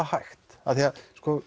hægt af því að